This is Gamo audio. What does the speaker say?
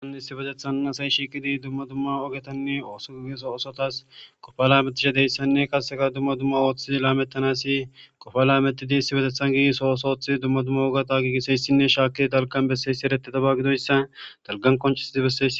An hissi betethann asayi shiiqidi dumma dumma ogetanne ooso gigeso osotas kofa laametisha deyssanne kaseka dumma dumma ooththii laamettanasi kofa laametidi issibetethan gii sooosoothi dumma dumma ogata giigiseyssinne shaaki dalgan besseyssi ereteda ba gidoyssa dalgan koncisidi besse.